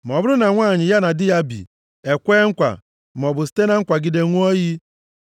“Ma ọ bụrụ na nwanyị ya na di ya bi e kwee nkwa maọbụ site na kwagide ṅụọ iyi,